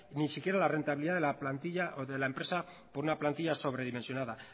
ni siquiera la rentabilidad de la plantilla o de la empresa por una plantilla sobredimensionada